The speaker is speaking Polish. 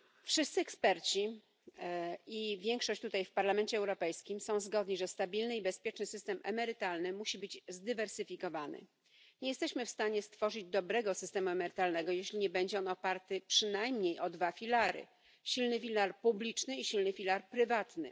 Wszyscy eksperci i większość posłów w Parlamencie Europejskim są zgodni, że stabilny i bezpieczny system emerytalny musi być zdywersyfikowany. Nie jesteśmy w stanie stworzyć dobrego systemu emerytalnego, jeśli nie będzie on oparty przynajmniej na dwóch filarach silnym filarze publicznym i silnym filarze prywatnym.